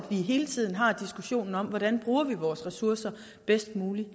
vi hele tiden har diskussionen om hvordan vi bruger vores ressourcer bedst muligt